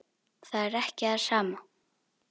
Það er ekki það sama.